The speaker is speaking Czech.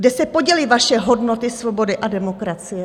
Kde se poděly vaše hodnoty svobody a demokracie?